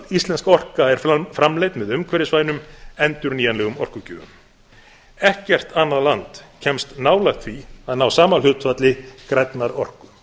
íslensk orka er framleidd með umhverfisvænum endurnýjanlegum orkugjöfum ekkert annað land kemst nálægt því að ná sama hlutfalli grænnar orku